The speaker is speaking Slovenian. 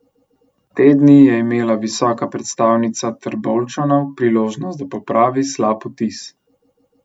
Te dni je imela visoka predstavnica Trboveljčanov priložnost, da popravi slab vtis.